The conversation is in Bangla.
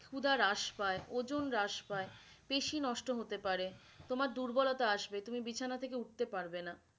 খুদা হ্রাস পায়ে ওজন হ্রাস পায়ে, বেশি নষ্ট হতে পারে, তোমার দুর্বলতা আসবে তুমি বিছানা থেকে উঠতে পারবে না